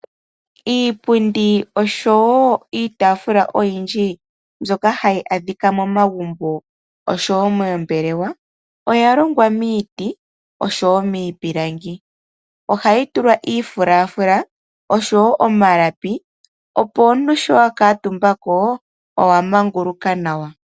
Iipundi niitafula ndjoka hayaadhika momagumbo nomoombelewa oyalongwa miiti niipilangi. Iipundi ohayi tulwa omafulafula nosho woo omalapi opo ngele omuntu akuutumbako ohalaka amanguluka nawa.